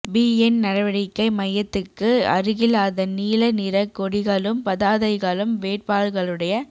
PN நடவடிக்கை மய்யத்துக்கு அருகில் அதன் நீல நிறக் கொடிகளும் பதாதைகளும் வேட்பாளர்களுடைய